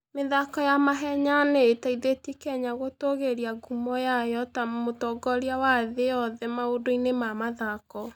mĩthako ya mahenya nĩ ĩteithĩtie Kenya gũtũũgĩria ngumo yayo ta mũtongoria wa thĩ yothe maũndũinĩ ma mathako.